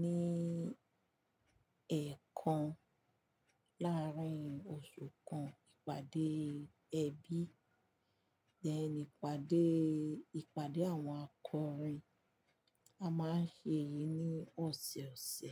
ní ẹ̀ẹ̀kan láàrín oṣù kan. Ìpàdé ẹbí, then ìpàdé- ìpàdé àwọn akọrin. A máa ń ṣe èyí ní ọ̀sọ̀ọ̀sẹ̀.